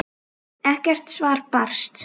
Ekkert svar barst.